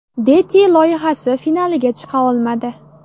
Deti” loyihasi finaliga chiqa olmadi.